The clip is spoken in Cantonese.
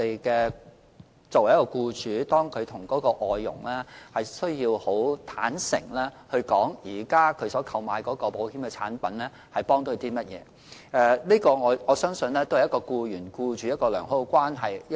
僱主亦須坦誠地向外傭解釋，所投購的保險產品對她有何幫助，我相信這是僱員與僱主建立良好關係的一種方法。